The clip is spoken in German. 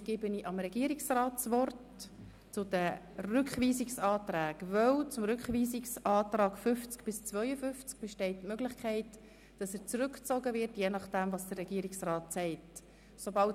Anschliessend gebe ich dem Regierungsrat das Wort, weil die Möglichkeit besteht, dass die Rückweisungsanträge zu den Artikeln 50 bis 52 je nachdem, was der Regierungsrat sagt, zurückgezogen werden.